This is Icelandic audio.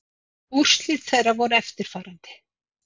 Úrslit þeirra voru eftirfarandi